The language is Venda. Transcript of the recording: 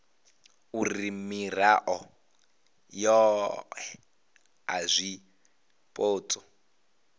uri mirao yohe ya zwipotso